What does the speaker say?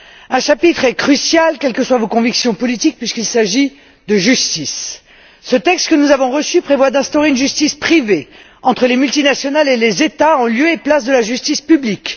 Un chapitre est crucial quelles que soient vos convictions politiques puisqu'il s'agit de justice. Ce texte que nous avons reçu prévoit d'instaurer une justice privée entre les multinationales et les États en lieu et place de la justice publique.